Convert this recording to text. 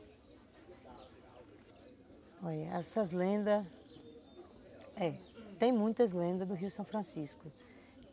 Olha, essas lendas... É, tem muitas lendas do Rio São Francisco.